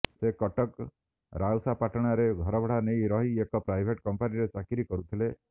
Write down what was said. ସେ କଟକ ରାଉସାପାଟଣାରେ ଘରଭଡ଼ା ନେଇ ରହି ଏକ ପ୍ରାଇଭେଟ୍ କମ୍ପାନୀରେ ଚାକିରି କରୁଥିଲେ